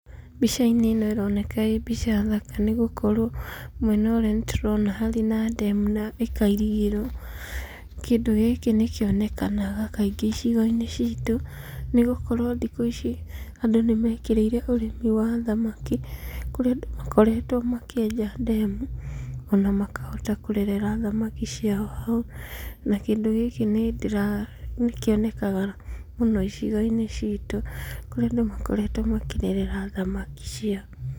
Mbicainĩ ĩno ĩroneka ĩ mbica thaka nĩ gũkorwo mwena ũrĩa nĩtũrona hena ndemu na ĩkairigĩrwo. Kĩndũ gĩkĩ nĩ kĩonekanaga kaingĩ icigiinĩ citũ nĩ gũkorwo thikũ ici andũ nĩmekĩrĩire ũrĩmi wa thamaki kũrĩa andũ makoretwo makĩenja ndemu ona makahota kũrerera thamaki ciao hau na kĩndũ gĩkĩ nĩkĩonekaga mũno icigo-inĩ citũ kũrĩa andũ makoretwo makĩrerera thamaki ciao.